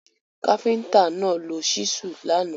Káfíntà náà lo ṣísù lánàá.